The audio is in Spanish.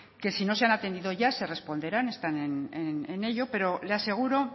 que si no se han atendido ya se responderán está ya en ello pero le aseguro